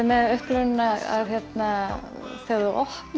með upplifunina þegar þú opnar